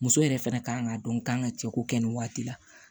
Muso yɛrɛ fɛnɛ kan k'a dɔn k'an ka cɛko kɛ nin waati la